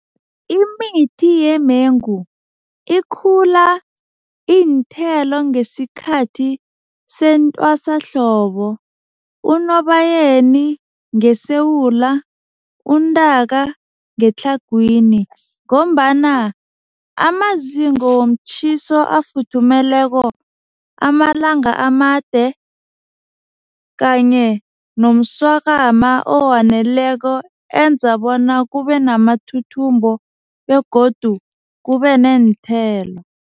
Imithi yemengu ikhula iinthelo ngesikhathi sentwasahlobo. UNobayeni ngeSewula, uNtaka ngeTlhagwini ngombana amazinga womtjhiso afuthumeleko amalanga amade kanye nomswakama owaneleko enza bona kube namathuthumbo begodu kube neenthelo.